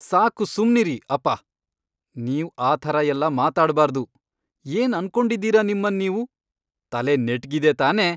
ಸಾಕು ಸುಮ್ನಿರಿ, ಅಪ್ಪ. ನೀವ್ ಆ ಥರ ಎಲ್ಲಾ ಮಾತಾಡ್ಬಾರ್ದು. ಏನ್ ಅನ್ಕೊಂಡಿದೀರಾ ನಿಮ್ಮನ್ ನೀವು? ತಲೆ ನೆಟ್ಗಿದೆ ತಾನೇ?!